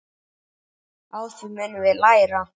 Á því munum við læra.